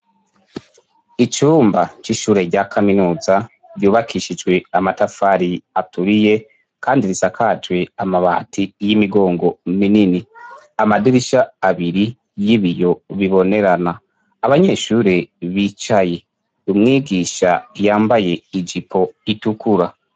Icumba c'ishure rya kaminuza ryubakishijwe amatafari aturiye kandi risakajwe amabati y'imigongo minini amadirisha abiri y'ibiyo bibonerana abanyeshure bicaye umwigisha yambaye ijipo itukura.